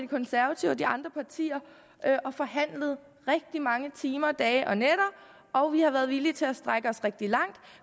konservative og de andre partier og forhandlet i rigtig mange timer dage og nætter og vi har været villige til at strække os rigtig langt